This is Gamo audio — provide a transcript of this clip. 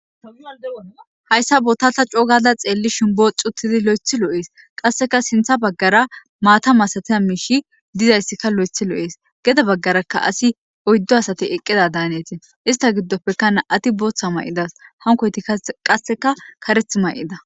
Hayssa botatha cougada xeelli shimboo xuttidi lo'ethi lo'ees qasseka sintha baggara maata masatiya miishi dizayssikka lo'ethi lo'ees geda baggaraka asi oyddo asate eqqida daaneti ista giddopekan ati booththa may'idas hankoyti qasseka kareth may'ida